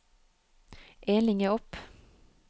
En linje opp